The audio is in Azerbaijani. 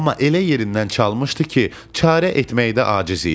Amma elə yerindən çalmışdı ki, çarə etməkdə aciz idim.